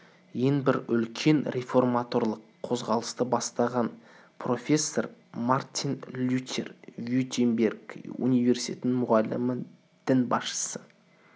ең бір үлкен реформаторлық қозғалысты бастаған профессор мартин лютер виттенберг университетінің мұғалімі дінбасшысы